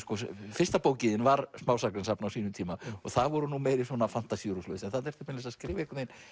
fyrsta bókin þín var smásagnasafn á sínum tíma og það voru nú meiri svona fantasíur og svoleiðis en þarna ertu meira að skrifa